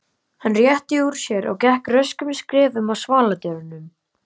Hann rétti úr sér og gekk röskum skrefum að svaladyrunum.